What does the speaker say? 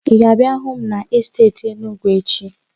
Ị ga-abịa hụ m n'esteeti Enugwu echi?